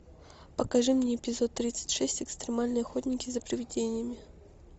покажи мне эпизод тридцать шесть экстремальные охотники за привидениями